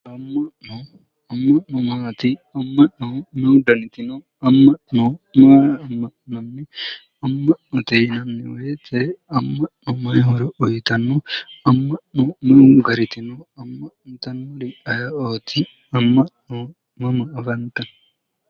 Amma'no amma'no maati amma'no me'u daniti no amma'no maa amma'nanni amma'note yinanni woyite amma'no mayi horo uyitano amma'no me'u gariti no amma'nitannori ayee'ooti amma'no mama afantanno